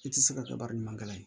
I ti se ka kɛ baara ɲuman kɛla ye